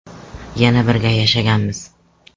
Yana birga yashaganmiz.